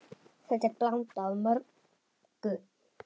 Þetta er blanda af mörgu.